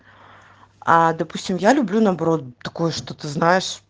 а допустим я люблю наоборот такое что ты знаешь